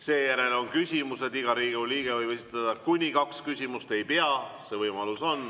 Seejärel on küsimused, iga Riigikogu liige võib esitada kuni kaks küsimust – ei pea, see võimalus on.